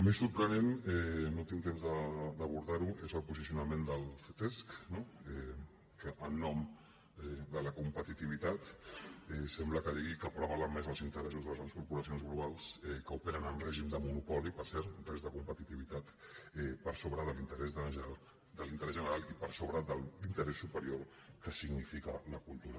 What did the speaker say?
més sorprenent no tinc temps d’abordar ho és el posicionament del ctesc que en nom de la competitivitat sembla que digui que prevalen més els interessos de les grans corporacions globals que operen en règim de monopoli per cert res de competitivitat per sobre de l’interès general i per sobre de l’interès superior que significa la cultura